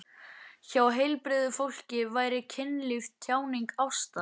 Hjá heilbrigðu fólki væri kynlíf tjáning ástar.